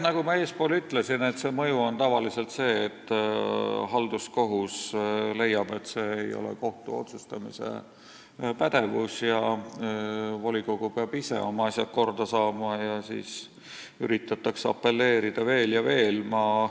Nagu ma eespool ütlesin, see mõju on tavaliselt see, et halduskohus leiab, et see ei ole kohtu otsustamispädevus ja volikogu peab ise oma asjad korda saama, ning siis üritatakse apelleerida veel ja veel.